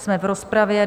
Jsme v rozpravě.